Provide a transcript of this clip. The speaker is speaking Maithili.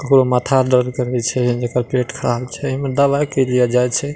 ककरो माथा दर्द करे छै जेकर पेट खराब छै ए में दवाई के लिए जाय छै।